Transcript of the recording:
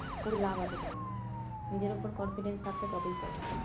করে লাভ আছেকোনো, নিজের উপর confident থাকলে তবেই করো